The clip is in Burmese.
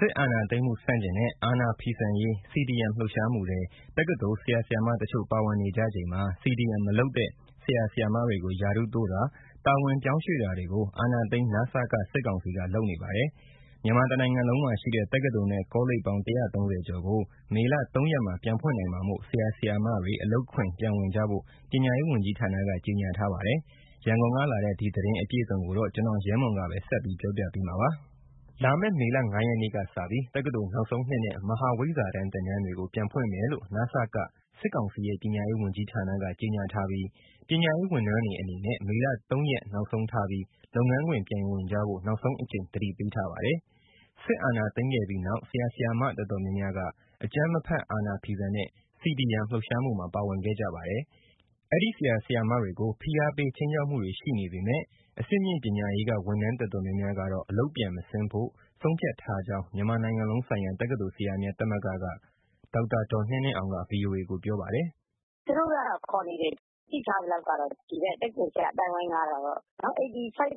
စစ်အာဏာသိမ်းမှု ဆန့်ကျင်တဲ့ အာဏာဖီဆန်ရေး CDM လှုပ်ရှားမှုထဲ တက္ကသိုလ် ဆရာဆရာမတချို့ ပါဝင်နေကြချိန်မှာ CDM မလုပ်တဲ့ ဆရာ၊ ဆရာမတွေကို ရာထူးတိုးတာ၊ တာဝန်ပြောင်းရွှေ့တာတွေကို အာဏာသိမ်း နစက စစ်ကောင်စီက လုပ်နေပါတယ်။ မြန်မာတနိုင်ငံလုံးမှာရှိတဲ့ တက္ကသိုလ်နဲ့ ကောလိပ်ပေါင်း ၁၃၀ ကျော်ကို မေလ ၅ ရက်မှာ ပြန်ဖွင့်နိုင်မှာမို့ ဆရာ ဆရာမတွေ အလုပ်ခွင်ပြန်ဝင်ကြဖို့ ပညာရေး ဝန်ကြီးဌာနက ကြေညာထားပါတယ်။ အခုလာမယ့် မေလ ၅ရက်နေ့မှာ တက္ကသိုလ်နောက်ဆုံးနှစ်နဲ့ မဟာဝိဇ္ဇာတန်းသင်တန်းတွေကို စစ်အုပ်ချုပ်ရေးကောင်စီ ခန့်အပ်ထားတဲ့ ပညာရေးဝန်ကြီးဌာနက စတင်ဖွင့်လှစ်ဖို့ ပြင်ဆင်နေပြီး ပညာရေးဝန်ထမ်းတွေကိုလည်း မေလ ၃ရက် နောက်ဆုံးထားပြီး လုပ်ငန်းခွင်ပြန်ဝင်ဖို့ နောက်ဆုံးအကြိမ် သတိပေးထားပါတယ်။ ဖိအားပေး ခြိမ်းခြောက်မှုတွေ ရှိနေပေမဲ့ အဆင့်မြင့်ပညာရေးက ဝန်ထမ်းအများစုဟာ မေလ ၃ ရက်မှာ အလုပ်ပြန်မဆင်းဖို့ ဆုံးဖြတ်ထားကြောင်း မြန်မာနိုင်ငံလုံးဆိုင်ရာ တက္ကသိုလ်ဆရာများ သမဂ္ဂက ဒေါက်တာ ဒေါ်နှင်းနှင်းအောင်က ဗွီအိုအေကို ပြောပါတယ်။ “ သူတို့ကတော့ ခေါ်နေတယ်၊ သိထားသလောက် ဒီဘက် တက္ကသိုလ်ဆရာ အသိုင်းအဝန်းကတော့ ၈၅% လောက်ထိကတော့